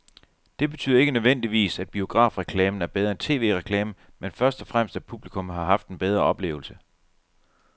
Det betyder ikke nødvendigvis, at biografreklamen er bedre end tv-reklamen, men først og fremmest at publikum har haft en bedre oplevelse.